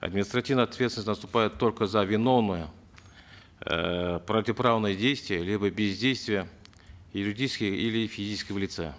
административная ответственность наступает только за виновные эээ противоправные действия либо бездействие юридического или физического лица